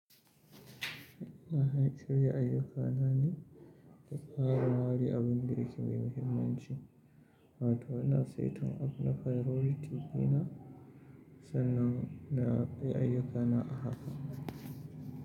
Ina haɗa shirya ayyukana ne da farawa da abin da yake mai muhimmanci. Wa ta ina saita abu na priority ɗina sannan na yi ayyukana a haka.